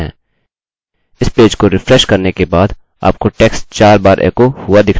इस पेज को रिफ्रेश करने के बाद आपको text 4 बार एकोechoहुआ दिखना चाहिए